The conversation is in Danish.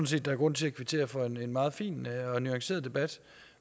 set der er grund til at kvittere for en meget fin og nuanceret debat